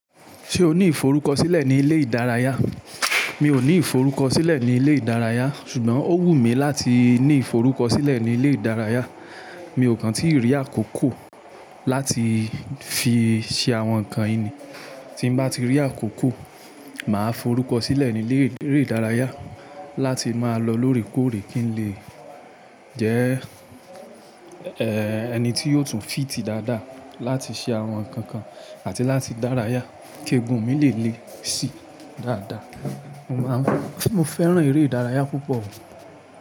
Ṣé o ní iforukọsilẹ ní ilé ìdárayá? Mi ò ní iforukọsilẹ ní ilé ìdárayá, ṣùgbọ́n ó wù mí láti ní iforukọsilẹ ní ilé ìdárayá. Mi ò kàn tí rí àkókò láti fi ṣe àwọn nǹkan yìí ni. Tín bá ti rí àkókò, màá forukọsilẹ ní ilé eré ìdárayá láti máa lọ lórèkórè kí n lè jẹ́ ẹni tí yóò tún fìtí dáadáa láti ṣe àwọn nǹkan kan àti láti dárayá kí eegun mi lè le si dáadáa. Mo máa ń-- mo fẹ́ràn eré ìdárayá púpọ̀ o.